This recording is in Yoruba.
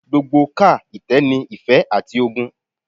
Gbogbo ká itẹ ni ife ati ogun